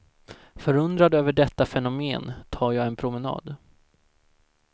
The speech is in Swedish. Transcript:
Förundrad över detta fenomen tar jag en promenad.